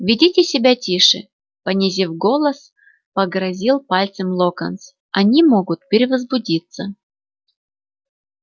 ведите себя тише понизив голос погрозил пальцем локонс они могут перевозбудиться